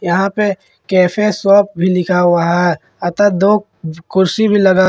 यहां पे cafe shop भी लिखा हुआ है अतः दो कुर्सी भी लगा--